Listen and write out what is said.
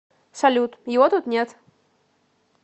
салют его тут нет